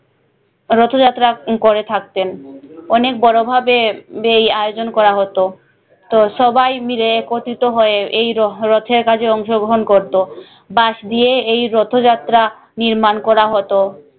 রথ যাত্রা করে থাকতেন অনেক বড় ভাবে এই আয়োজন করা হতো তো সবাই মিলে একত্রিত হয়ে এই রহ রথের কাজে অংশগ্রহণ করতো বাঁশ দিয়ে এই রথো যাত্রা নির্মাণ করা হতো